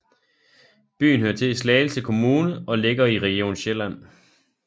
Byen hører til Slagelse Kommune og ligger i Region Sjælland